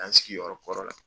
An sigiyɔrɔ kɔrɔ la.